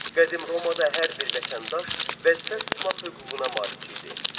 Qədim Romada hər bir vətəndaş vəzifə tutmaq hüququna malik idi.